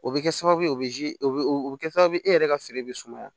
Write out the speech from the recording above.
O bɛ kɛ sababu ye o bɛ o bɛ kɛ sababu ye e yɛrɛ ka feere bɛ sumaya